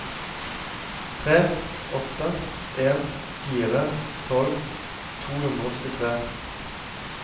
tre åtte en fire tolv to hundre og syttitre